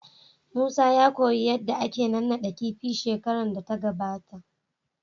Musa ya koyi yadda ake naɗaɗɗan kifi na shekaran da ya gabata.